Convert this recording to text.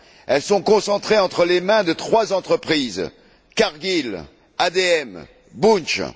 Elles sont concentrées entre les mains de trois entreprises Cargill, ADM et Bunch.